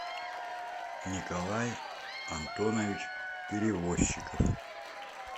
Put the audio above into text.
николай антонович перевозчиков